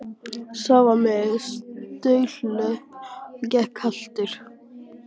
Sá var með staurlöpp og gekk haltur.